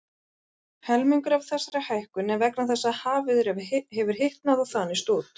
Helmingur af þessari hækkun er vegna þess að hafið hefur hitnað og þanist út.